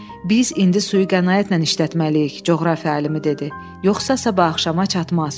Biz indi suyu qənaətlə işlətməliyik, coğrafiya alimi dedi, yoxsa sabah axşama çatmaz.